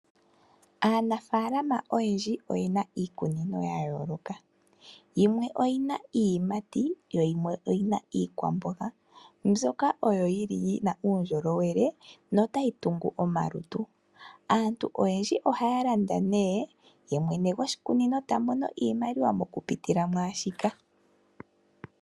Aanafalama oyendji oye na iikunino ya yooloka yimwe oyi na iiyimati yo yimwe oyi na iikwamboga mbyoka oyo yili yi na uundjolowele nota yi tungu omalutu. Aantu oyendji ohaya landa nee ye mwene goshikunino ta mono iimaliwa okupitila mwaashika.